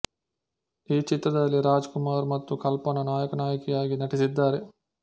ಈ ಚಿತ್ರದಲ್ಲಿ ರಾಜ್ ಕುಮಾರ್ ಮತ್ತು ಕಲ್ಪನ ನಾಯಕ ನಾಯಕಿಯಾಗಿ ನಟಿಸಿದ್ದಾರೆ